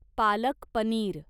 palak paneer